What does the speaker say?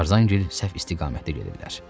Tarzan gil səhv istiqamətə gedirlər.